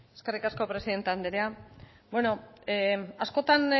eskerrik asko presidente andrea bueno askotan